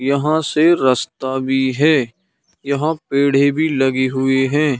यहाँ से रस्ता भी है यहाँ पेड़े भी लगे हुए हैं।